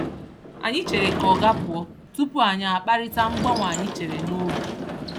Anyị chere ka oga pụọ tupu anyị akparịta mgbanwe anyị chere n’obi.